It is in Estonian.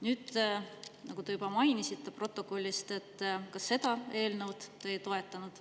Nüüd, nagu te juba mainisite protokollist, seda eelnõu te ei toetanud.